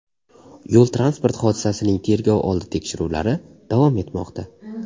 Yo‘l-transport hodisasining tergov oldi tekshiruvlari davom etmoqda.